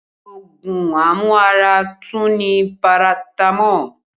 Ogun amu ara tú ni paratamo